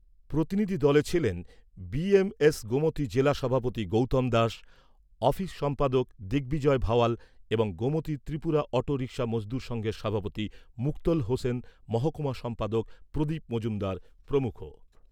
প্রতিনিধি দলে ছিলেন বিএমএস গোমতী জেলা সভাপতি গৌতম দাস, অফিস সম্পাদক দিগ্বিজয় ভাওয়াল এবং গোমতী ত্রিপুরা অটো রিক্সা মজদুর সঙ্ঘের সভাপতি মুক্তোল হোসেন, মহকুমা সম্পাদক প্রদীপ মজুমদার প্রমুখ।